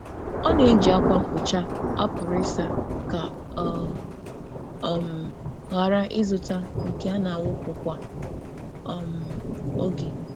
Ọ na-eji ákwà mkpocha a pụrụ ịsa ka ọ ghara ịzụta nke a na-awụpụ kwa oge.